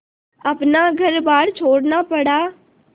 अपना घरबार छोड़ना पड़ा